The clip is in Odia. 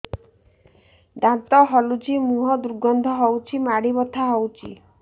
ଦାନ୍ତ ହଲୁଛି ମୁହଁ ଦୁର୍ଗନ୍ଧ ହଉଚି ମାଢି ବଥା ହଉଚି